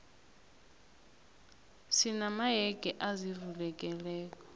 sina mayege azivulekelako